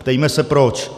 Ptejme se proč.